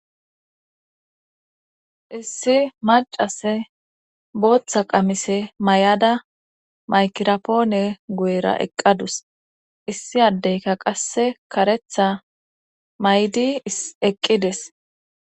Issi macase booththa qamise may7ada maykirapoone guyera eqqadus issi addeyka qasse karetha maydi eqqides.